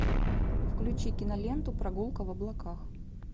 включи киноленту прогулка в облаках